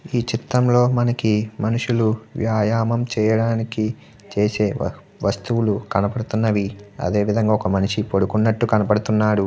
ఈ చిత్రం లో మనకి మనుషులు వ్యాయామం చేయడానికి చేసే వస్తువులు కనబడుతున్నవి అదే విధంగా ఒక మనిషి పడుకున్నట్టు కనబడుతున్నాడు.